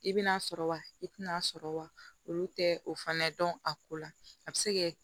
I bi n'a sɔrɔ wa i tɛna sɔrɔ wa olu tɛ o fana dɔn a ko la a bɛ se kɛ